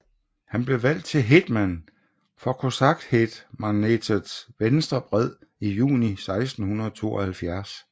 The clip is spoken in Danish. Han blev valgt til hétman for kosakhetmanatets venstre bred i juni 1672